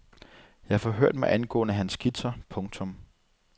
Jeg forhørte mig angående hans skitser. punktum